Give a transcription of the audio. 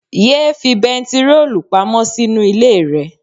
Yéé fi bentiroolu pamọ́ sínú ilé rẹ.